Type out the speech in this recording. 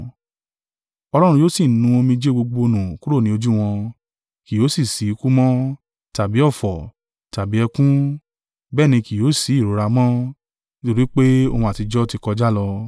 Ọlọ́run yóò sì nu omijé gbogbo nù kúrò ni ojú wọn; kì yóò sì ṣí ikú mọ́, tàbí ọ̀fọ̀, tàbí ẹkún, bẹ́ẹ̀ ni kí yóò sí ìrora mọ́, nítorí pé ohun àtijọ́ tí kọjá lọ.”